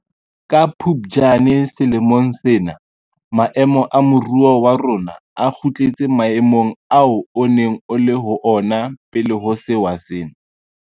Ka Phuptjane selemong sena maemo a moruo wa rona a kgutletse maemong ao o neng o le ho ona pele ho sewa sena.